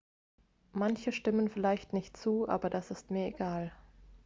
"""manche stimmen vielleicht nicht zu aber das ist mir egal.""